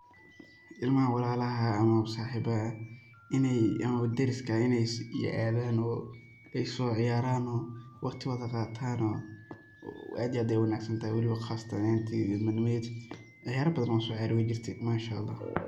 Ilmaha walalaxa ax amaa saxibaxa ax, ineey amaa dariska ax ineey athano, o ey sociyarano, waqtigotxa qatano, aad iyo aad ayey uwanagsantaxay waliba qasatan aaxanteyda ilma nimatxeyda ciyara batxaan o aan sociyare weyjirte Manshaallah.